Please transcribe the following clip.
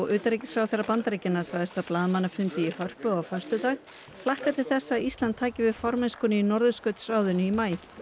utanríkisráðherra Bandaríkjanna sagðist á blaðamannafundi í Hörpu á föstudag hlakka til þess að Ísland taki við formennskunni í Norðurskautsráðinu í maí